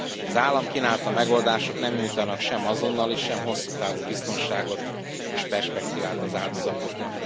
Az állam kínálta megoldások nem nyújtanak sem azonnali, sem hosszú távú biztonságot és perspektívát az áldozatoknak.